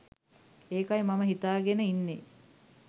ඒකයි මම හිතාගෙන ඉන්නේ